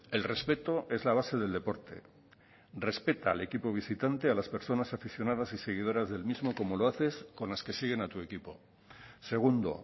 el respeto es la base del deporte respeta al equipo visitante a las personas aficionadas y seguidoras del mismo como lo haces con las que siguen a tu equipo segundo